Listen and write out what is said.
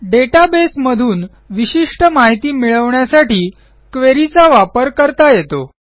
database मधून विशिष्ट माहिती मिळवण्यासाठी queryचा वापर करता येतो